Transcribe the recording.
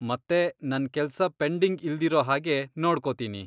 ಮತ್ತೆ ನನ್ ಕೆಲ್ಸ ಪೆಂಡಿಂಗ್ ಇಲ್ದಿರೋ ಹಾಗೆ ನೋಡ್ಕೋತೀನಿ.